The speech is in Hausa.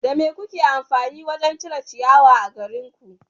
Da me kuke amfani wurin sare ciyawa a garinku?